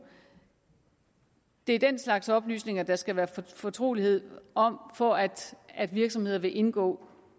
det er den slags oplysninger der skal være fortrolighed om for at at virksomheder vil indgå